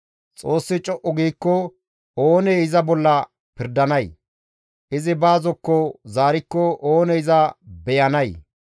Xoossi co7u giikko oonee iza bolla pirdanay? Izi ba zokko zaarikko oonee iza beyanay?